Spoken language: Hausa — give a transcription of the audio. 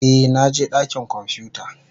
Eh, na je dakin kwamfuta.